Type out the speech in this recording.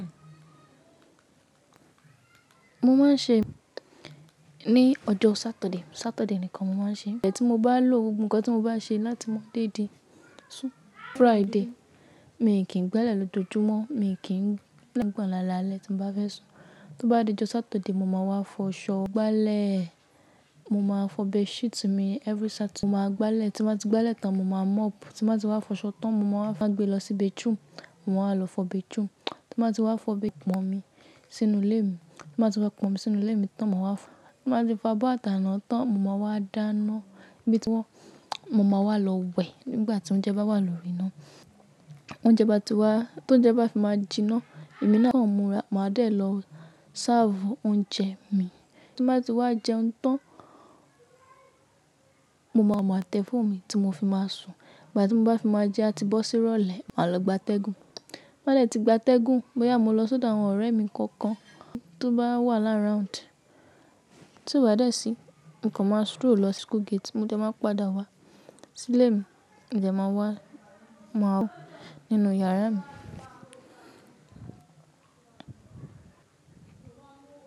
Mo máa ń ṣe ní ọjọ́ Saturday. Saturday nìkan mo máa ń ṣe. Ìgbà tí mo bá lò ńǹkan tí mo bá ṣe láti máa dédé sun Friday. Mi kì í gbálẹ̀ lójoojúmọ́. Mi kì í gbá ilẹ̀ láti gbà ọ̀nà alaalẹ́ tí mo bá fẹ́ sùn. Tó bá dé ọjọ́ Saturday, mo máa wá fọ ṣọ, gbá ilẹ̀. Mo máa fọ bedsheet mi every Saturday. Mo máa gbá ilẹ̀. Tí mo bá ti gbá ilẹ̀ tán, mo máa mop. Tí mo bá ti wá fọ ṣọ tán, mo máa wá gbe lọ sí bathroom Mo máa lọ fọ bed too. Tí mo bá ti wá fọ bathroom, mo máa ti pọn omi sínú ilé mi. Tí mo bá ti wá pọn omi sínú ilé mi tán, mo máa wá, tí mo bá ti wá bó àtàná tán mo máa wá dáná bí tí wọ́n. Mo máa wá lọ wẹ̀ nígbà tí oúnjẹ bá wà lórí iná. Oúnjẹ bá ti wá, tóúnjẹ bá fi máa jiná, èmi náà kí ọmọ máa dé lọ sáàfù oúnjẹ mi. Tí mo bá ti wá jẹun tán, mo máa ma tẹ fóònù mi tí mo fi máa sùn. Ìgbà tí mo bá ti fi máa jẹun a ti bọ́ sí ìrọ̀lẹ́, máa lọ gbátẹ́gùn. Bá dẹ̀ tí gbátẹ́gùn, bóyá mo lọ sọ́dọ̀ àwọn ọ̀rẹ́ mi kankan tó bá wà lá around. Tó bá dẹ̀ sí, nǹkan máa stroll lọ sí school gate. Mo dẹ̀ máa padà wá sílé mi. Ǹjẹ́ máa wá, máa wọ inú yàrá mi.